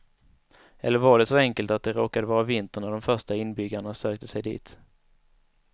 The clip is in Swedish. Eller var det så enkelt att det råkade vara vinter när de första inbyggarna sökte sig dit.